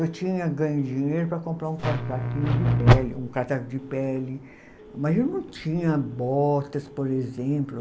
Eu tinha ganho dinheiro para comprar um casaco de pele, mas eu não tinha botas, por exemplo.